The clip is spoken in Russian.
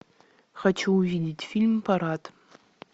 хочу увидеть фильм парад